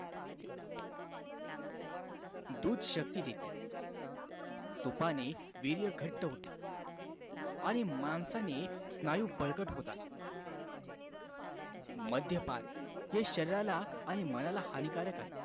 दूध शक्ती देते तुपाने वीर्य घट्ट होते आणि मांसाने स्नायू बळकट होतात मद्यपान हे शरीराला आणि मनाला हानिकारक आहे